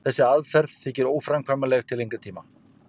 þessi aðferð þykir óframkvæmanleg til lengri tíma